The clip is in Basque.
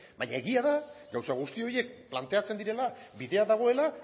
baina egia da gauza guzti horiek planteatzen direla bidea dagoela